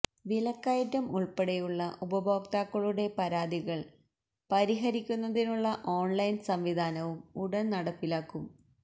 വിലക്കയറ്റം ഉള്പ്പെടെയുള്ള ഉപഭോക്താക്കളുടെ പരാതികള് പരിഹരിക്കുന്നതിനുള്ള ഓണ്ലൈന് സംവിധാനവും ഉടന് നടപ്പിലാകും